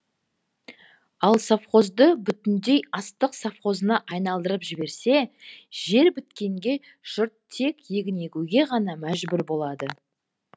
ал совхозды бүтіндей астық совхозына айналдырып жіберсе жер біткенге жұрт тек егін егуге ғана мәжбүр болады